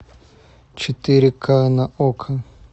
четыре к на окко